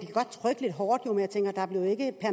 godt trykke lidt hårdt